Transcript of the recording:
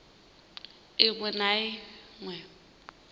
i ṅ we na i